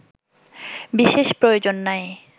বিশেষ প্রয়োজন নাই